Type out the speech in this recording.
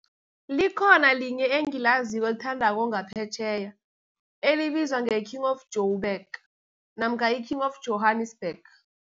Likhona linye engilaziko elithandako ngaphetjheya, elibizwa nge-''King of Joburg'' namkha i-''King of Johannesburg.